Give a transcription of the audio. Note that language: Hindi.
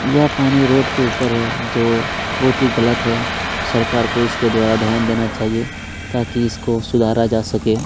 यह पानी रोड के ऊपर है जो बहुत ही गलत है सरकार को इसके द्वारा ध्यान देना चाहिए ताकि इसको सुधारा जा सके --